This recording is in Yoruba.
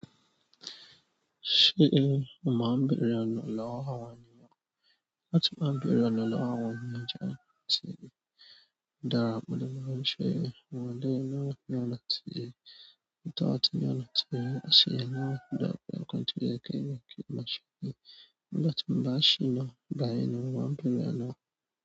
Ṣé mo máa ń béèrè àná lọ́wọ́ àwọn ènìyàn? Láti má ń béèrè àná lọ́wọ́ àwọn ènìyàn jẹ́ kí n sọ èyí. Da ra múlẹ̀ máa ń ṣe ìwádìí láti mọ̀ ọ́n tí ọ̀tọ̀ọ̀tọ̀ yàn lọ sí i. Wọ́n sì yà mí dá pé n kò tí ó yẹ kẹ́ni kan máa ṣe ni. Nígbà tí mo bá ṣìnà, ìgbà yẹn ni mo máa ń béèrè ọ̀nà.